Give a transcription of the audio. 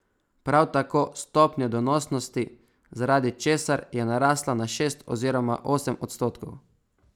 Prav tako stopnje donosnosti, zaradi česar je narasla na šest oziroma osem odstotkov.